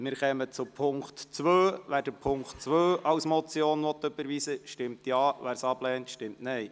Wer Punkt 2 als Motion überweisen will, stimmt Ja, dies ablehnt, stimmt Nein.